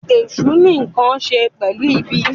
Èsù ní nkán ṣe pẹlu ìbí.